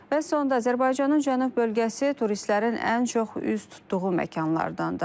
Və sonda Azərbaycanın cənub bölgəsi turistlərin ən çox üz tutduğu məkanlardandır.